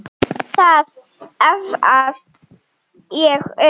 Það efast ég um.